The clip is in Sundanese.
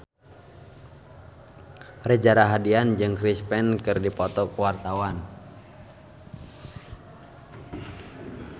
Reza Rahardian jeung Chris Pane keur dipoto ku wartawan